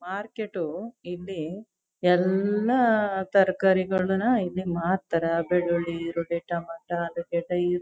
market ಇಲ್ಲಿ ಎಲ್ಲ ತರಕಾರಿಗಳನ್ನ ಮಾರ್ತಾರೆ ಬೆಳ್ಳುಳ್ಳಿ ಈರುಳ್ಳಿ ಟೊಮೊಟೊ ಆಲೂಗಡ್ಡೆ--